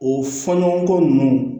O fɔɲɔgɔnkɔ ninnu